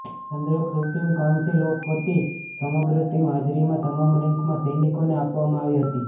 ચંદ્રક supreme council of વતી સમગ્ર ટીમ હાજરીમાં તમામ રેન્કમાં સૈનિકોને આપવામાં આવી હતી